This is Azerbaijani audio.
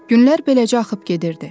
Günlər beləcə axıb gedirdi.